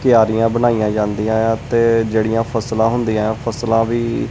ਕਿਆਰੀਆਂ ਬਣਾਈਆਂ ਜਾਂਦੀਆਂ ਏ ਆ ਤੇ ਜਿਹੜੀਆਂ ਫਸਲਾਂ ਹੁੰਦੀਆਂ ਏ ਐ ਫਸਲਾਂ ਵੀ--